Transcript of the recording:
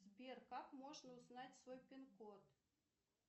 сбер как можно узнать свой пин код